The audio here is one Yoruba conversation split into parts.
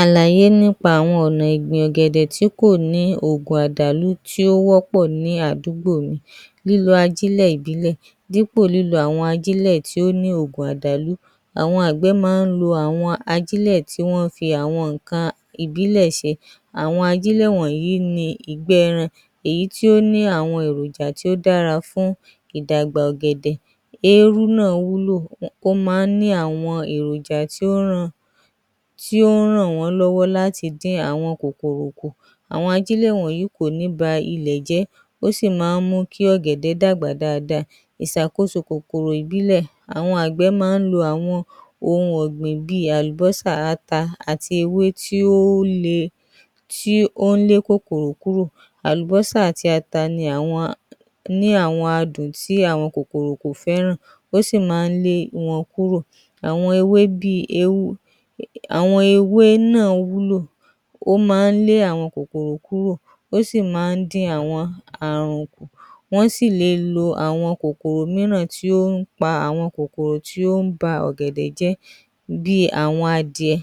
‎Alàyé nípa àwọn Ọnà ìgbìn ọ̀gẹ̀dẹ tí kò ní àwọn òògùn àdàlú tí ó wọ́pọ̀ ní àdúgbò yìí, lílọ ajílẹ̀ ìbílẹ̀ dípò lílo àwọn ajílẹ̀ tí ó ní òògùn àdàlú, àwọn àgbẹ̀ máa ń lo àwọn ajílẹ̀ tí wọ́n ń fi àwọn nǹkan ìbílẹ̀ ṣe, àwọn ajílẹ̀ wọ̀nyí ni ìgbẹ́ ẹran èyí tí ó ní àwọn èròjà tó dára fún àwọn ìdàgbà ọ̀gẹ̀dẹ̀, eérú náà wú lò. Ó máa ń ní àwọn èròjà tí ó ràn wọ́n lọ́wọ́ láti dín àwọn kòkòrò kù, àwọn ajílẹ̀ wọ̀nyí kò ní ba ilẹ̀ jẹ́, ó sì máa ń mú kí ọ̀gẹ̀dẹ̀ dàgbà dáadáa. ìṣàkóso kòkòrò ìbílẹ̀, àwọn àgbẹ̀ máa ń lo ohun ọ̀gbìn bíi àlùbọ́sà, Ata àti ewé tí ó ń lé kòkòrò kúrò, àlùbọ́sà àti ata ni àwọn adùn tí àwọn kòkòrò kò fẹ́ràn ó sì máa ń lé wọn kúrò, àwọn ewé náà wúlò ó máa ń lé àwọn kòkòrò kúrò, ó sì máa ń dín àwọn àrùn kù, wọ́n sì le lo àwọn kòkòrò mìíràn tí ó ń pa kòkòrò tí ó ń ba ọ̀gẹ̀dẹ̀ jẹ́ bíi àwọn adìẹ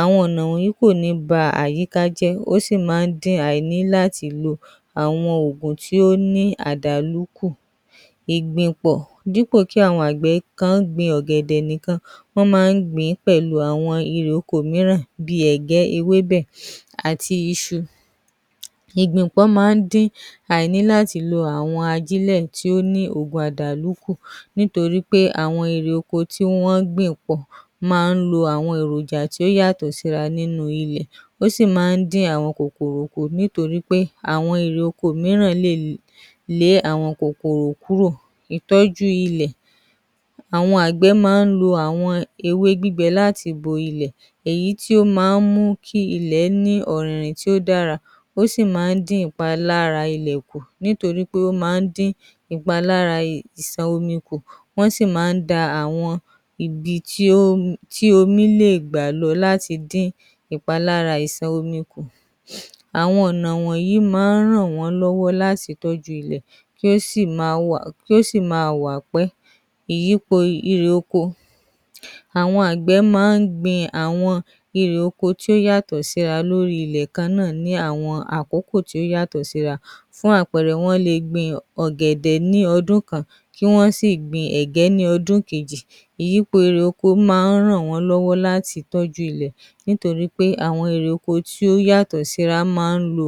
àwọn ọ̀nà wọ̀nyí kò ní ba àyíká jẹ́ ó sì máa ń dín àìní láti lo àwọn oogun òògùn tó ní àwọn àdàlú kù, ìgbìnpọ̀: dípò kí àwọn àgbẹ̀ kan gbin ọ̀gẹ̀dẹ̀ nìkan, wọ́n máa ń gbìn ín pẹ̀lú àwọn irè oko mìíràn bíi ègé ewebẹ̀ àti isu, ìgbìnpọ́ máa ń dín àní láti lo àwọn òògùn ajílẹ̀ tó ní òògùn àdàlù kù, nítorí pé àwọn irè oko mìíràn lè lé àwọn kòkòrò kúrò. Ìtọ́jú ilẹ̀ :àwọn àgbẹ̀ máa ń lo ewé gbígbé láti bo ilẹ̀ èyí tí ó láti bo ilẹ̀, èyí máa ń mú kí ilẹ̀ ní ọ̀rìnrìn tí ó dára ó sì máa ń dín ìpalára ilẹ̀ kù nítorí pé ó máa ń dín ìpalára ìṣàn omi kù wọ́n sì máa ń dma àwọn igi tí omi lè gbà lọ láti dín ìpalára ìṣàn omi kù àwọn ọ̀nà wọ̀nyí máa ń ràn wọ́n lọ́wọ́ láti tọ́jú ilẹ̀ tó sì máa wà pẹ́, ìyípo irè oko, àwọn àgbẹ̀ máa ń gbin àwọn irè oko tó yàtọ̀ síra lórí ilẹ̀ kan náà ní àkókò tó yàtọ̀ síra bíi àpẹẹrẹ wọ́n lè gbin ọ̀gẹ̀dẹ̀ ní ọdún kan kí wọ́n sì gbìn ẹ̀gẹ́ ní ọdún kejì, ìyípo irè oko máa ń ràn wọ́n lọ́wọ́ láti tọ́jú ilẹ̀ nítorí pé àwọn irè oko tó yàtọ̀ síra máa ń lo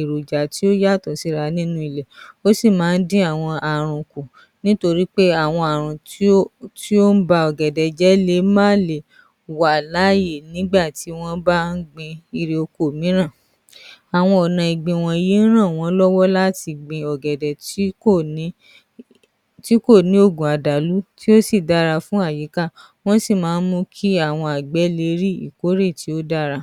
èròjà tó yàtọ̀ síra nínú ilẹ̀, ó sì máa ń dín àwọn ààrùn kù, nítorí pé àwọn ààrùn tó ń ba ọ̀gẹ̀dẹ̀ jẹ́ lè má le à láàyè nígbà tí wọ́n ń bá ń gbin irè oko mìíràn, àwọn ọ̀nà ìgbìn wọ̀nyí ń ràn wọ́n lọ́wọ́ láti gbin ọ̀gẹ̀dẹ̀ tí kò ní òògùn àdàlú tí ó sì dára fún àyíká, wọ́n sì máa ń mú kí àwọn àgbẹ̀ le rí ìkórè tí ó dára.